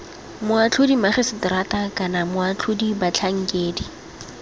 boatlhodi magiseterata kana moatlhodi batlhankedi